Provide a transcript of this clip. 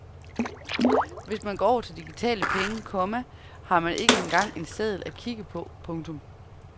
Hvis man går over til digitale penge, komma har man ikke engang en seddel at kigge på. punktum